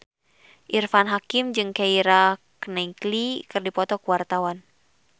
Irfan Hakim jeung Keira Knightley keur dipoto ku wartawan